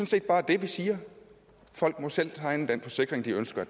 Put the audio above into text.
set bare det vi siger folk må selv tegne den forsikring de ønsker